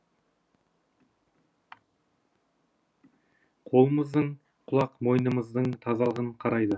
қолымыздың құлақ мойнымыздың тазалығын қарайды